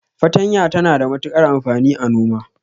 Fatanya tana da matukar amfani a noma.